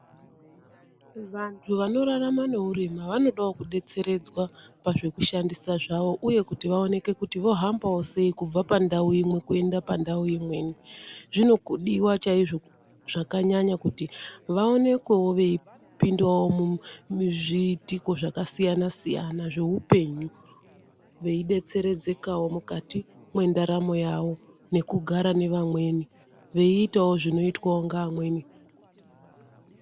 Vantu vanorarama neuroma vanodawo kudetseredzwa pazvekushandisa zvavo uye kuti vaonekewo kuti vahamba sei kubva pandau imwe kuenda pandau imweni. Zvinodiwa zvakanyanya kuti vaonekwewo veipindawo muzviitiko zvakasiyana siyana veidetserekawo mukati mwendaramo yavo nekugara nevamweni veitawo zvinoitwawo ngevamweni.